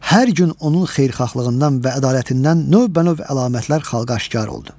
Hər gün onun xeyirxahlığından və ədalətindən növbənöv əlamətlər xalqa aşkar oldu.